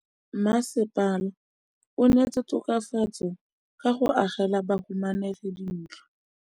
Mmasepala o neetse tokafatsô ka go agela bahumanegi dintlo.